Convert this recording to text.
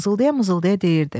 Mızıldaya-mızıldaya deyirdi: